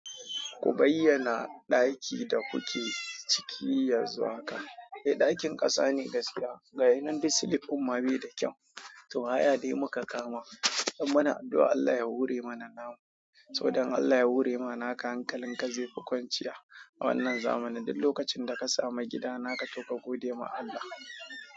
Ku bayyana ɗakin da kuke ciki yanzu haka. Eh, ɗakin ƙasa ne gaskiya. Ga yanan duk silik din ma bai da kyau. To, haya dai muka kama. Don muna addu'a Allah ya horr mana namu. Saboda Allah ya hore ma naka hankalin ka zai fi kwanciya a wannan zamanin duk lokacin da ka samu gida naka to ka gode ma Allah.